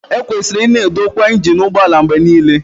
Ekwesịrị ịna edokwa injin ụgbọ ala mgbe niile